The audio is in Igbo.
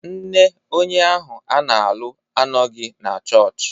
Nne onye ahụ a na-alụ anọghị na chọọchị